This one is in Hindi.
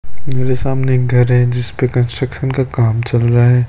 मेरे सामने एक घर है जिस पे कंस्ट्रक्शन का काम चल रहा है।